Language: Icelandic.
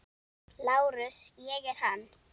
LÁRUS: Ég er hann.